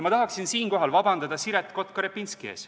Ma tahan siinkohal paluda vabandust Siret Kotka-Repinskilt.